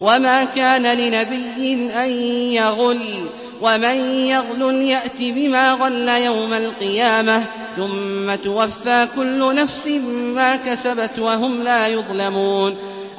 وَمَا كَانَ لِنَبِيٍّ أَن يَغُلَّ ۚ وَمَن يَغْلُلْ يَأْتِ بِمَا غَلَّ يَوْمَ الْقِيَامَةِ ۚ ثُمَّ تُوَفَّىٰ كُلُّ نَفْسٍ مَّا كَسَبَتْ وَهُمْ لَا يُظْلَمُونَ